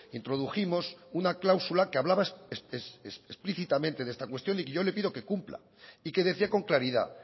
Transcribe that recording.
introdujimos una cláusula que hablaba explícitamente de esta cuestión y yo le pido que cumpla y que decía con claridad